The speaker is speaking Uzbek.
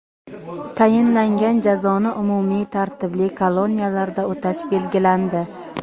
Tayinlangan jazoni umumiy tartibli koloniyalarda o‘tash belgilandi.